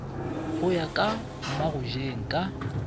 go ya ka mmagojeng ka